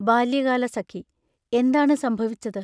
ബാല്യകാലസഖി എന്താണ് സംഭവിച്ചത്?